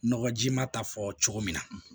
Nɔgɔji ma ta fɔ cogo min na